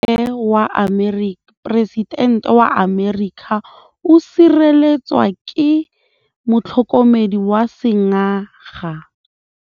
Poresitêntê wa Amerika o sireletswa ke motlhokomedi wa sengaga.